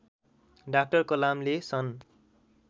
doctor कलामले सन्